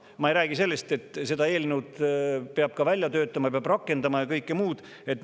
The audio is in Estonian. Ma ei räägi sellest, et selle eelnõu peab ka välja töötama ja seda peab rakendama ja kõike muud.